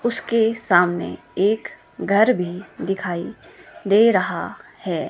उसके सामने एक घर भी दिखाई दे रहा है।